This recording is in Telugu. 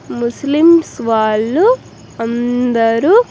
ముస్లిమ్స్ వాళ్ళు అందరూ.